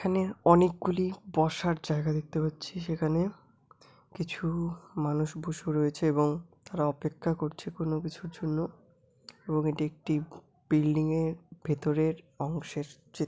এখানে অনেকগুলি বসার জায়গা দেখতে পাচ্ছি সেখানে কিছু মানুষ বসে রয়েছে এবং তারা অপেক্ষা করছে কোন কিছুর জন্য এবং এটি একটি বিল্ডিং -এর ভেতরের অংশের চিত্র--